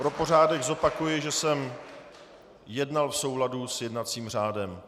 Pro pořádek zopakuji, že jsem jednal v souladu s jednacím řádem.